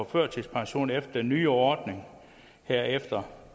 førtidspension efter den nye ordning her efter